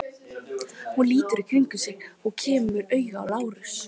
Hún lítur í kringum sig og kemur auga á Lárus.